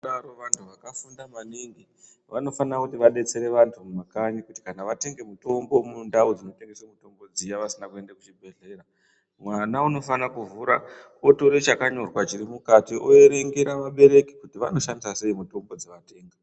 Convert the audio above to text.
...vantu vakafunda maningi vanofanira kuti vadetsere vantu mumakanyi kuti kana vatenge mutombo mundau dzinotengeswe mutombo dziya vasina kuende kuchibhedhlera. Mwana unofana kuvhura otore chakanyorwa chirimukati overengera vabereki kuti vanoshandisa sei mutombo dzavatenga.